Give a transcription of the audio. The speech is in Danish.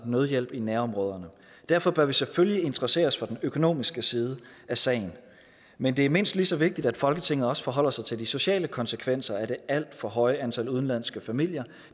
nødhjælp i nærområderne derfor bør vi selvfølgelig interessere os for den økonomiske side af sagen men det er mindst lige så vigtigt at folketinget også forholder sig til de sociale konsekvenser af det alt for høje antal udenlandske familier